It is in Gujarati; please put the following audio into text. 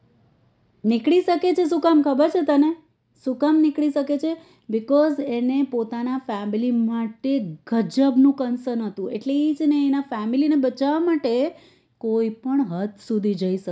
નીકળી શકે છે શું કામ ખબર છે તને શું કામ નીકળી શકે છે because એને પોતાના family માટે ગજબ નું કન્સર્ન હતું એટલે છે ને એ એના family માટે કોઈ પણ હદ સુધી જઈ સકતો